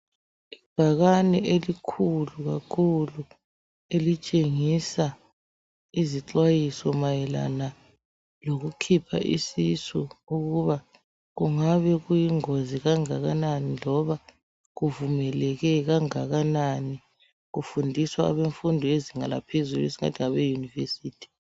Ibhakane elikhulu kakhulu elitshengisa izixwayiso mayelana lokukhipha isisu ukuba, kungabe kuyingozi kangakanani loba kuvumeleke kangakanani. Kufundiswa abemfundo yezinga laphezulu kwesinye isikhathi ngabeyunivesithi.